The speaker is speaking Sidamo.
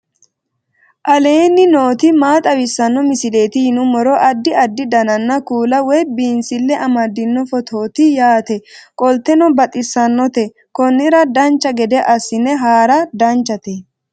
aleenni nooti maa xawisanno misileeti yinummoro addi addi dananna kuula woy biinsille amaddino footooti yaate qoltenno baxissannote konnira dancha gede assine haara danchate